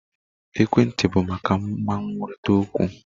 Ekwentị bụ maka mma nkwurịta okwu.